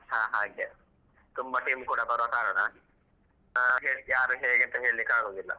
ಹ ಹಾಗೆ ತುಂಬ team ಕೂಡ ಬರುವ ಕಾರಣ ಆ ಯಾರು ಹೇಗೆ ಅಂತ ಹೇಳಿಕ್ಕೆ ಆಗುದಿಲ್ಲ.